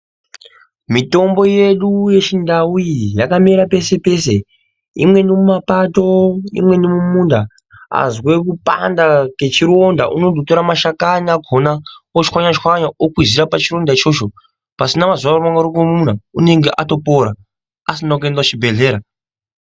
Mitombo yedu yechindau iyi yakamera pese-pese. Imweni iri mumapato imweni mumunda. Azwe kupanda kwechironda unondotora mashakani akona otswanya-tswanya okwizira pachironda ichocho. Pasina mazuva marongomuna unenge atopora, pasina kuenda kuchibhedhlera.